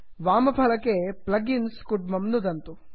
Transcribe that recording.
वामफलके plug इन्स् कुड्मं नुदन्तु